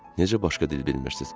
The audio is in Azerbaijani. Necə başqa dil bilmirsiniz?